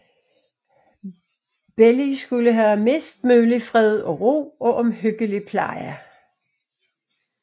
Barnet skulle have mest mulig fred og ro og omhyggelig pleje